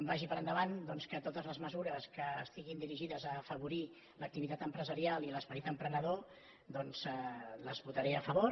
vagi per endavant doncs que totes les mesures que estiguin dirigides a afavorir l’activitat empresarial i l’esperit emprenedor doncs les votaré a favor